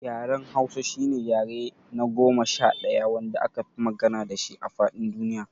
Yaren Hausa shine yare na goma sha ɗaya wanda akafi magana dashi a faɗin duniya.